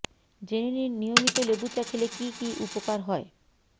জেনে নিন নিয়মিত লেবু চা খেলে কী কী উপকার হয়